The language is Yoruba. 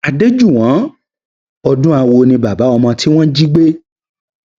adéjúnwọn odúnáwò ni bàbá ọmọ tí wọn jí gbé